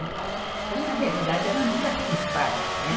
tal. Então, na realidade, ela nunca quis parar, né.